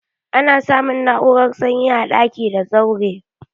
Ana samun na'urar sanyi a daki da zaure.